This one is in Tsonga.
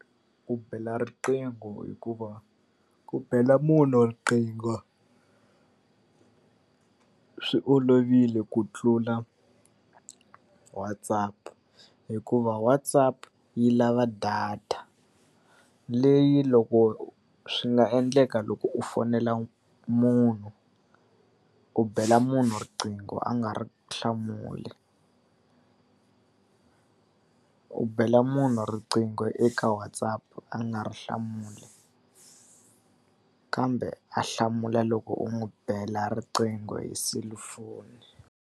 ku bela riqingho hikuva ku bela munhu riqingho swi olovile ku tlula WhatsApp hikuva WhatsApp yi lava data. Leyi loko swi nga endleka loko u fonela munhu, u bela munhu riqingho a nga ri hlamuli u bela munhu riqingho eka WhatsApp a nga ri hlamuli. Kambe a hlamula loko u n'wi bela riqingho hi selufoni.